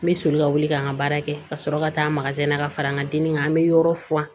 N bɛ soli ka wuli ka n ka baara kɛ ka sɔrɔ ka taa na ka fara n ka dimi kan n bɛ yɔrɔ furan